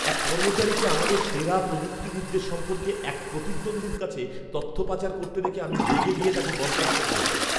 এক কর্মচারীকে আমাদের সেরা প্রযুক্তিবিদদের সম্পর্কে এক প্রতিদ্বন্দ্বীর কাছে তথ্য পাচার করতে দেখে আমি রেগে গিয়ে তাকে বরখাস্ত করেছি।